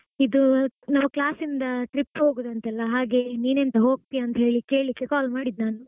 ಇದೂ ನಾವ್ class ಇಂದ trip ಹಾಗುದಂತೆಲ್ಲ ಹಾಗೆ ನೀನೆಂತ ಹೋಗ್ತಿಯಾ ಅಂತ ಹೇಳಿ ಕೇಳಿಕ್ಕೆ call ಮಾಡಿದ್ ನಾನು.